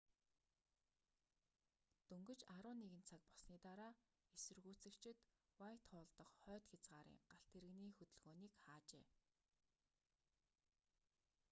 дөнгөж 11:00 цаг болсны дараа эсэргүүцэгчид уайтхолл дах хойд хязгаарын галт тэрэгний хөдөлгөөнийг хаажээ